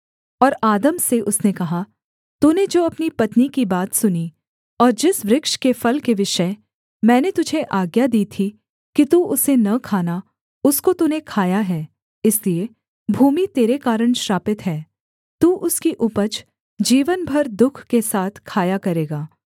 और आदम से उसने कहा तूने जो अपनी पत्नी की बात सुनी और जिस वृक्ष के फल के विषय मैंने तुझे आज्ञा दी थी कि तू उसे न खाना उसको तूने खाया है इसलिए भूमि तेरे कारण श्रापित है तू उसकी उपज जीवन भर दुःख के साथ खाया करेगा